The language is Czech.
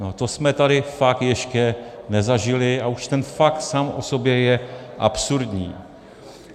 No to jsme tady fakt ještě nezažili a už ten fakt sám o sobě je absurdní.